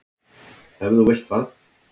Ef þú vilt það.